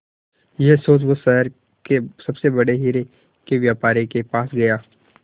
यह सोच वो शहर के सबसे बड़े हीरे के व्यापारी के पास गया